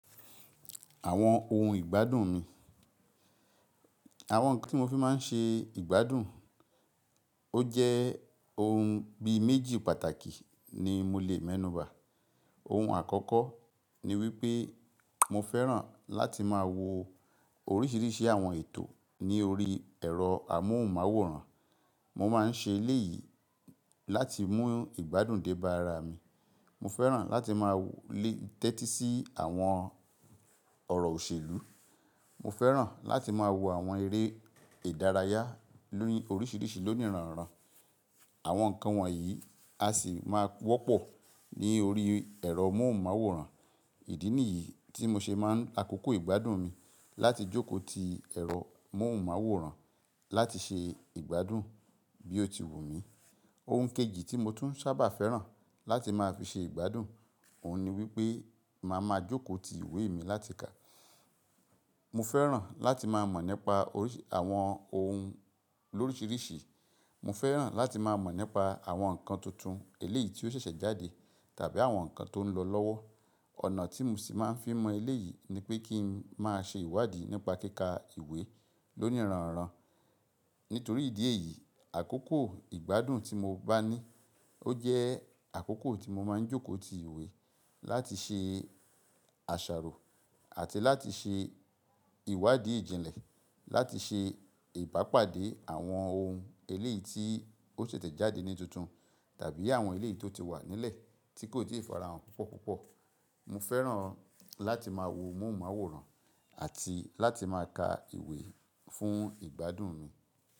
Àwọn ohun ìgbádùn mi. Àwọn ohun kan tí mo fi máa ń ṣe ìgbádùn. Ó jẹ́ ohun bí méjì pàtàkì ni mo lè mẹ́nuba. Ohun àkọ́kọ́ ni wípé mo fẹ́ràn láti máa wo oríṣìíríṣìí àwọn ètò ní orí ẹ̀rọ amóhùnmáwòrán. Mo máa ń ṣe eléyìí láti mú ìgbádùn dé bá ara mi. Mo fẹ́ràn láti máa lè tẹ́tí sí àwọn ọ̀rọ̀ òṣèlú. Mo fẹ́ràn láti máa wo àwọn eré ìdárayá ni oríṣìíríṣìí lóníranran. Àwọn nǹkan wọ̀nyí a sì máa wọ́pọ̀ ní orí ẹ̀rọ amóhùnmáwòrán. Ìdí nìyí tí mo ṣe máa ń àkókò ìgbádùn mi láti jókòó ti ẹ̀rọ amóhùnmáwòrán láti ṣe ìgbádùn bí ó ti wù mí. Ohun kejì tí mo tún sábà fẹ́ràn láti máa fi ṣe ìgbádùn, òun ni wípé màá ma jókòó ti ìwé mi láti kà. Mo fẹ́ràn láti máa mọ̀ nípa oríṣìí àwọn ohun lóríṣìíríṣìí. Mo fẹ́ràn láti máa mọ̀ nípa àwọn nǹkan tuntun eléyìí tí ó ṣẹ̀ṣẹ̀ jáde tàbí àwọn nǹkan tó ń lọ lọ́wọ́. Ọ̀nà tí mo sì máa ń fi mọ eléyìí ni pé kí n máa ṣe ìwádìí nípa kíkà ìwé lóníranran. Nítorí ìdí èyí, àkókò ìgbádùn tí mo bá ní ó jẹ́ àkókò tí mo máa ń jókòó ti ìwé láti ṣe àṣàrò àti láti ṣe ìwádìí ìjìnlẹ̀, láti ṣe ìbápàdé àwọn ohun eléyìí tí ó ṣẹ̀ṣẹ̀ jáde ní tuntun tàbí àwọn eléyìí tó ti wà nílẹ̀ tí kò ti ì farahàn púpọ̀púpọ̀. Mo fẹ́ràn láti máa wo amóhùnmáwòrán àti láti máa ka ìwé fún ìgbádùn mi.